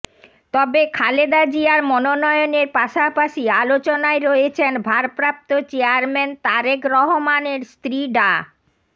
তবে খালেদা জিয়ার মনোনয়নের পাশাপাশি আলোচনায় রয়েছেন ভারপ্রাপ্ত চেয়ারম্যান তারেক রহমানের স্ত্রী ডা